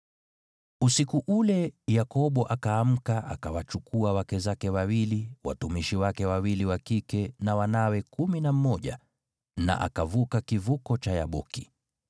Usiku ule Yakobo akaamka akawachukua wake zake wawili, watumishi wake wawili wa kike na wanawe kumi na mmoja na akavuka kivuko cha Yaboki.